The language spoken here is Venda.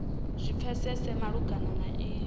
zwi pfesese malugana na iyi